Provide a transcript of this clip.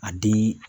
A di